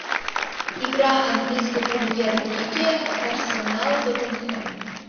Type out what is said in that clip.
игра английской премьер лиги арсенал тоттенхэм